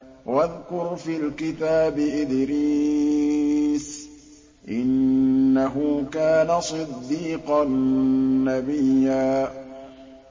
وَاذْكُرْ فِي الْكِتَابِ إِدْرِيسَ ۚ إِنَّهُ كَانَ صِدِّيقًا نَّبِيًّا